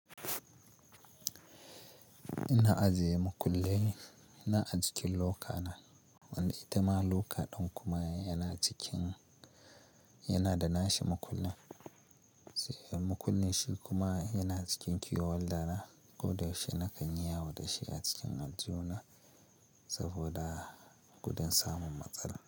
Ina ajiye makulle ina ajikin lokana. Wanda itama loka ɗan kuma yana cikin, yana da nashi makullin. Sai makullin shi kuma yana cikin key holder na koda yaushe shi na kan yi yawo da shi a cikin aljihu na saboda kudan samun matsala.